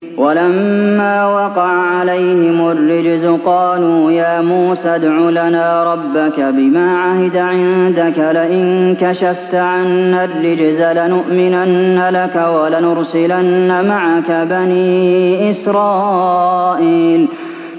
وَلَمَّا وَقَعَ عَلَيْهِمُ الرِّجْزُ قَالُوا يَا مُوسَى ادْعُ لَنَا رَبَّكَ بِمَا عَهِدَ عِندَكَ ۖ لَئِن كَشَفْتَ عَنَّا الرِّجْزَ لَنُؤْمِنَنَّ لَكَ وَلَنُرْسِلَنَّ مَعَكَ بَنِي إِسْرَائِيلَ